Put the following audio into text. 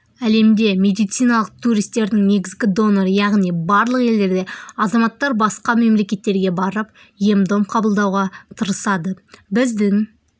әлемде медициналық туристердің негізгі доноры яғни барлық елдерде азаматтар басқа мемлекеттерге барып ем-дом қабылдауға тырысады біздің